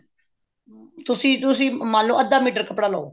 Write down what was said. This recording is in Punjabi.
ਤੁਸੀਂ ਤੁਸੀਂ ਮੰਨਲੋ ਅੱਧਾ ਮੀਟਰ ਕੱਪੜਾ ਲਓ